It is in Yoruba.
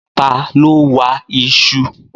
Ta ló wa iṣu